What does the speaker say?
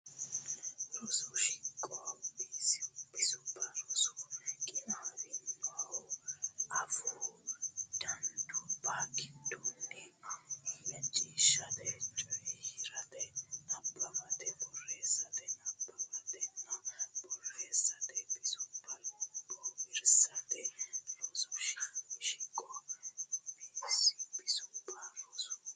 Rosu Shiqo Bisubba Rosu qinaawinohu afuu danduubba giddoonni macciishshate coyi rate nabbawatenna borreessate nabbawannitanna borreessate bisubba bowirsateeti Rosu Shiqo Bisubba Rosu.